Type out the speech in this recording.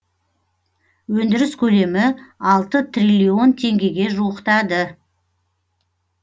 өндіріс көлемі алты триллион теңгеге жуықтады